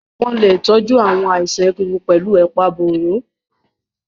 Wọ́n lè tọ́jú àwọn àìsàn egungun pẹ̀lú ẹ̀pà roro.